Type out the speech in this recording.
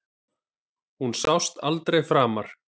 Hann sást aldrei framar.